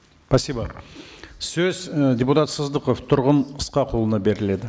спасибо сөз і депутат сыздықов тұрғын ысқақұлына беріледі